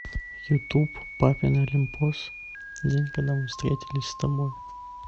ютуб папин олимпос день когда мы встретились с тобой